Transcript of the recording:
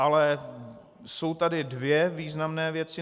Ale jsou tady dvě významné věci.